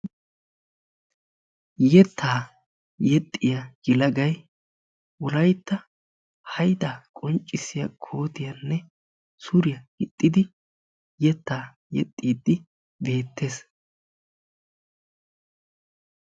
yettaa yexxiya yelagay wolaytta hayidaa qonccissiya kootiyanne suriya gixxidi yettaa yexxiiddi beettes.